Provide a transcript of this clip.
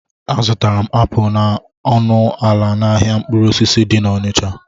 A zụtara m apụl na ọnụ ala n'ahịa mkpụrụ osisi dị n'Ọnịcha